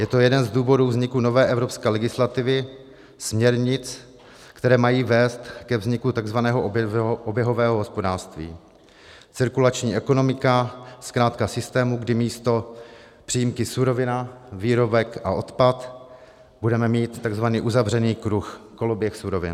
Je to jeden z důvodů vzniku nové evropské legislativy, směrnic, které mají vést ke vzniku tzv. oběhového hospodářství, cirkulační ekonomiky, zkrátka systému, kdy místo přímky surovina, výrobek a odpad budeme mít tzv. uzavřený kruh, koloběh surovin.